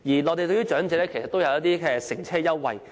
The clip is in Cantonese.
內地也為長者提供乘車優惠。